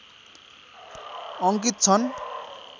अङ्कित छन्